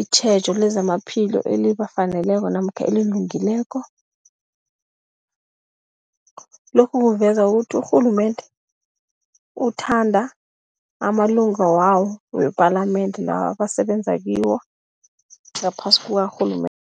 itjhejo lezamaphilo elibafaneleko namkha elilungileko. Lokhu kuveza ukuthi urhulumende uthanda amalunga wawo wepalamende, lawa abasebenza kiwo ngaphasi kukarhulumende.